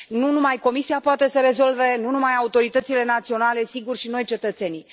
Nu numai Comisia poate să rezolve, nu numai autoritățile naționale, sigur, și noi cetățenii.